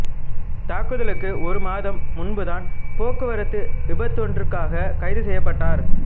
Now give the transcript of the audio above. தாக்குதலுக்கு ஒரு மாதம் முன்புதான் போக்குவரத்து விபத்தொன்றிற்காக கைது செய்யப்பட்டார்